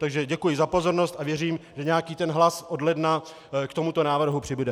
Takže děkuji za pozornost a věřím, že nějaký ten hlas od ledna k tomuto návrhu přibude.